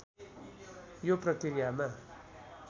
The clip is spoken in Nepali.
यो प्रकृयामा